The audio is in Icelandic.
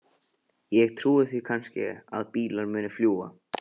Ég trúi því kannski að bílar muni fljúga.